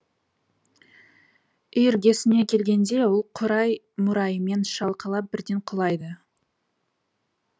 үй іргесіне келгенде ол қурай мурайымен шалқалап бірден құлайды